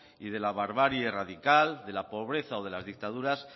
y de la barbarie radical de la pobreza o de las dictaduras